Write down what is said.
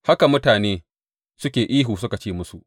Haka mutane suke ihu suke ce musu.